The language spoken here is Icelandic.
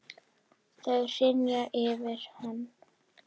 Þau hrynja yfir hann.